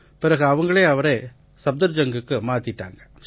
பிறகு அவங்களே அவரை சஃப்தர்ஜங்குக்கு மாத்திட்டாங்க